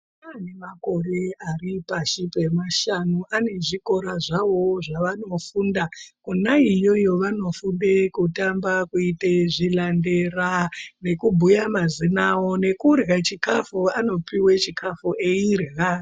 Ana anemakore ari pashi pemashanu ane zvikora zvawowo zvevanofunda Kona iyoyo vanofunde kutamba, kuite zvilandela nekubhuye mazina awo nekurhya chikafu anopuwa chikafu eirhya.